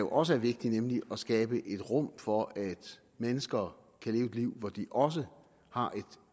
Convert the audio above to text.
også er vigtigt nemlig at skabe et rum for at mennesker kan leve et liv hvor de også har